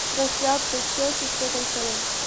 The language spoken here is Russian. трансляция челси с тоттенхэмом